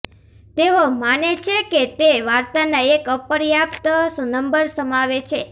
તેઓ માને છે કે તે વાર્તાના એક અપર્યાપ્ત નંબર સમાવે છે